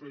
bé